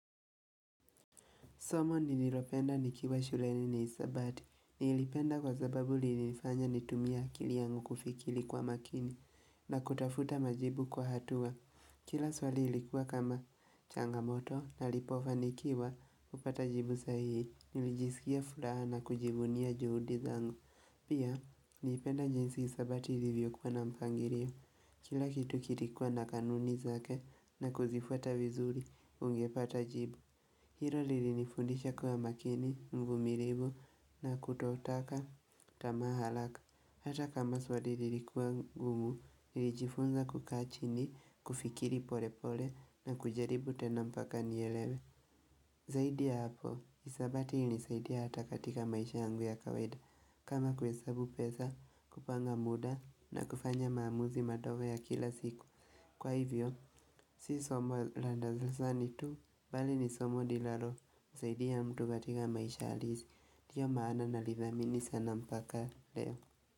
Somo ni nilopenda nikiwa shule ni nisabati. Ni ilipenda kwa zababu li nifanya nitumia kili yangu kufikili kwa makini na kutafuta majibu kwa hatua. Kila swali ilikuwa kama changamoto na lipofa nikiwa upata jibu sahi. Nilijisikia furaha na kujibunia juhudi zangu. Pia, ni ipenda njinsi nisabati hivyo kwa na mpangirio. Kila kitu kilikuwa na kanuni zake na kuzifuata vizuri ungepata jibu. Hiro lili nifundisha kuwa makini, ngumiribu na kutootaka, tamahalaka Hata kama swadili likuwa ngumu, nilijifunza kukachini, kufikiri pole pole na kujaribu tenampaka nielewe Zaidi ya hapo, hisabati hunisaidia hata katika maisha yangu ya kawaida kama kuhesabu pesa, kupanga muda na kufanya maamuzi madogo ya kila siku Kwa hivyo, si somo la darasani tu, bali ni somo lilalo msaidi ya mtu katika maisha halisi, ndio maana nalidhamini sana mpaka.